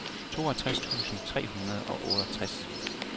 toogtres tusind tre hundrede og otteogtres